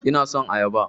Ina son ayaba